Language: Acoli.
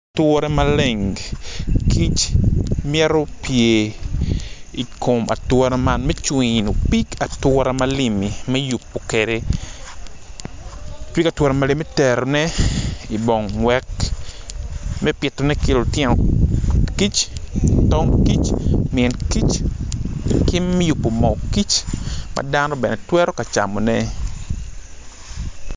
Ature maleng kic mito pye i kom ature malengi mito cwino pig ature malimmi pig ature malimmi mito terone i bong me pitone ki lutino kic tong kic min kic ki me yubo moo kic ma dano bene twero camone.